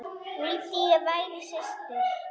Vildi ég væri systir.